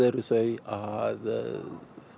eru þau að